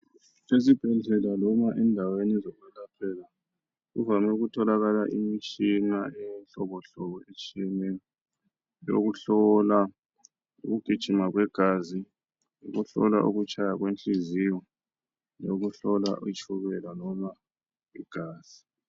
esibhedlela loba endaweni zokulaphela kuvame ukutholakala imitshina yohlobohlobo etshiyeneyo ukuhlola ukugijima kwegazi ukuhlola ukutshaya kwenhliziyo lokuhlola itshukela loba igazi